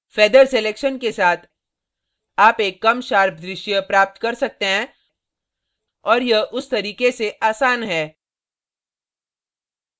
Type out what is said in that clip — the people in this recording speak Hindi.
feather selection के साथ आप एक कम sharp दृश्य प्राप्त कर सकते हैं और यह उस तरीके से आसान है